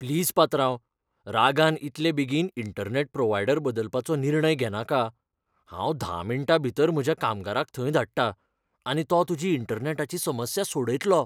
Please पात्रांव, रागान इतले बेगीन इंटरनॅट प्रोव्हायडर बदलपाचो निर्णय घेनाका, हांव धा मिण्टां भितर म्हज्या कामगाराक थंय धाडटा, आनी तो तुजी इंटरनॅटाची समस्या सोडयतलो.